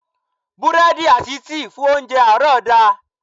Búrẹ́dì àti tíì fún óńjẹ àárọ̀ da.